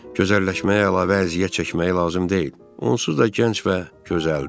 Gözəlləşməyə əlavə əziyyət çəkməyə lazım deyil, onsuz da gənc və gözəldir.